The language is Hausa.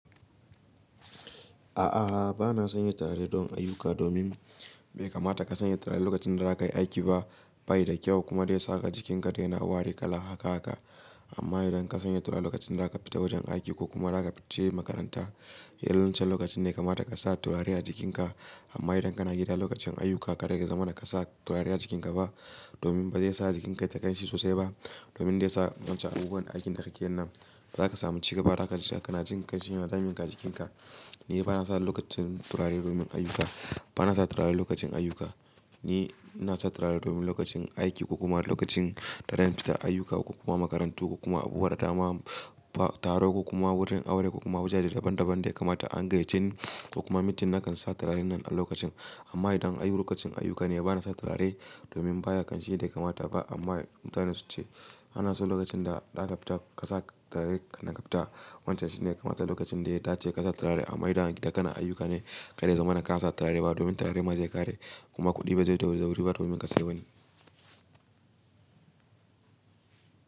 A'a, bana sanya turare don ayuka domin bai kamata ka sanya turare lokacin da za ka yi aiki ba. Bai da kyau kuma bai sa ka jikinka da yana wari kala haka haka. Amma idan ka sanya turare lokacin da za ka fita wajen aiki ko kuma za ka fita makaranta, irin wancen lokacin ne kamata ka sa turare a jikinka. Amma idan kana gida lokacin ayuka, ka da ka zamana ba ka sa turare a jikinka ba domin ba zai sa jikinka yai ta ƙanshi sosai ba. Domin dai sa wancan abubuwan aikin da kake yin nan, za ka samu ci gaba da haka ka na jin ƙanshi yana damin ka jikinka. Ni bana sa turare lokacin ayuka. Ni ina sa turare domin lokacin aiki ko kuma lokacin da zan fita ayuka ko kuma makarantu ko kuma abu wadatama, taro ko kuma wurin aure ko kuma wajaje daban daban da ya kamata an gayyace ni ko kuma mintin na kan sa turaren nan a lokacin. Amma idan ayi lokacin ayuka ne bana sa turare domin baya ƙanshi da ya kamata ba. Amma mutane su ce ana so lokacin da za ka fita ka sa turare kannan ka fita. Wancan shine kamata lokacin da ya dace ka sa turare. Domin da idan kana ayyuka kar ya zamana domin turare ma zai zo ya kare kuma kudi ba zai zo da wuri ba domin ka sai wani.